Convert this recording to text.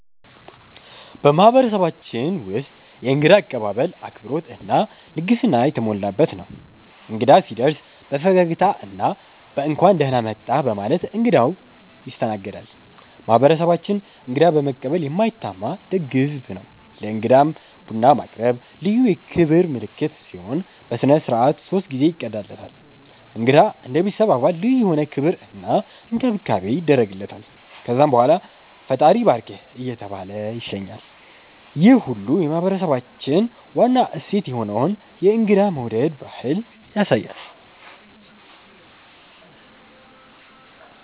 በማህበረሰባችን ውስጥ የእንግዳ አቀባበል አክብሮት እና ልግስና የተሞላበት ነው። እንግዳ ሲደርስ በፈገግታ እና በ“እንኳን ደህና መጣህ” በማለት እንግዳው ይስተናገዳል። ማህበረሰባችን እንግዳ በመቀበል የማይታማ ደግ ህዝብ ነው። ለእንግዳም ቡና ማቅረብ ልዩ የክብር ምልክት ሲሆን፣ በሥነ ሥርዓት ሶስት ጊዜ ይቀዳለታል። እንግዳ እንደ ቤተሰብ አባል ልዩ የሆነ ክብር እና እንክብካቤ ይደረግለታል። ከዛም በኋላ “ፈጣሪ ይባርክህ” እየተባለ ይሸኛል፣ ይህ ሁሉ የማህበረሰባችንን ዋና እሴት የሆነውን የእንግዳ መውደድ ባህል ያሳያል።